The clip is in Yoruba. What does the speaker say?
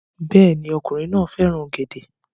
Bẹ́ẹ̀ ni, ọkùnrin náà fẹ́ràn ọ̀gẹ̀dẹ̀